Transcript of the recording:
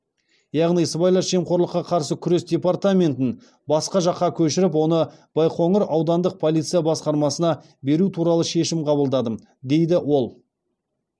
яғни сыбайлас жемқорлыққа қарсы күрес департаментін басқа жаққа көшіріп оны байқоңыр аудандық полиция басқармасына беру туралы шешім қабылдадым дейді ол